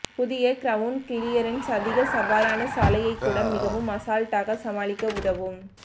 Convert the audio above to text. புதிய ground clearance அதிக சவாலான சாலையைக் கூட மிகவும் அசால்டாக சமாளிக்க உதவும்